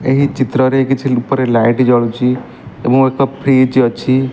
ଏହି ଚିତ୍ରରେ କିଛି ଉପରେ ଲାଇଟ୍ ଜଳୁଛି ଏବଂ ଏକ ଫ୍ରିଜ୍ ଅଛି।